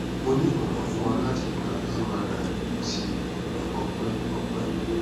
mo ni imọran fun ọ lati gba mri ti ọpẹ ọpẹ